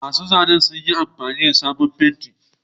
Masu zanen sun yi amfani da sabon fenti.